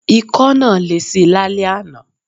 Ikọ́ náà lesi lálẹ́ àná.